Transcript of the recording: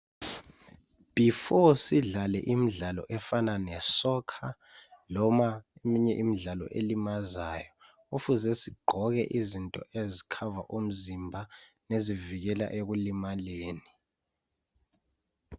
Before sidlale imidlalo efanana lesoccer loma eminye imidlalo elimazayo kufuze sigqoke izinto ezi cover umzimba lezivikela ekulimaleni.